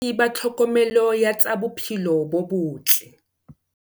Ba tlhokomelo ya tsa bophelo bo botle.